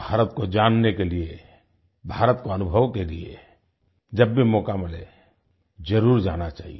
भारत को जानने के लिए भारत को अनुभव के लिए जब भी मौका मिले जरुर जाना चाहिए